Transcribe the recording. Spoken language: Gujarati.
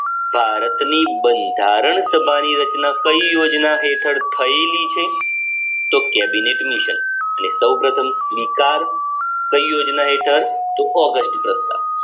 ભારતની બંધારણ સભાની રચના કઈ યોજના હેઠળ થયેલી છે તો કેબિનેટ મિશન અને સૌ પ્રથમ સ્વીકાર કઈ યોજના હેઠળ